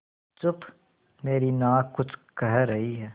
चुप मेरी नाक कुछ कह रही है